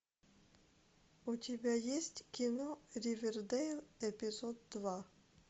у тебя есть кино ривердейл эпизод два